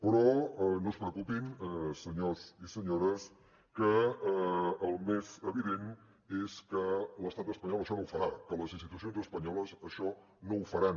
però no es preocupin senyors i senyores que el més evident és que l’estat espanyol això no ho farà que les institucions espanyoles això no ho faran